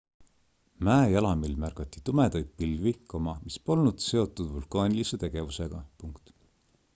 mäejalamil märgati tumedaid pilvi mis polnud seotud vulkaanilise tegevusega